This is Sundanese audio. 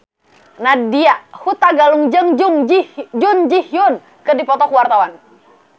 Nadya Hutagalung jeung Jun Ji Hyun keur dipoto ku wartawan